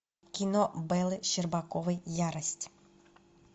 кино беллы щербаковой ярость